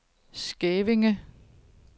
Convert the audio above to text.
Skævinge